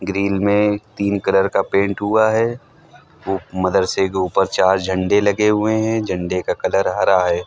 Grill में तीन colour का पेंट हुआ है वो मदरसे के ऊपर चार झंडे लगे हुए है झंडे का कलर हरा हैं।